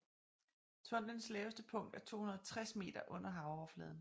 Tunnelens laveste punkt er 260 meter under havoverfladen